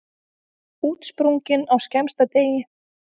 Útsprungin á skemmsta degi.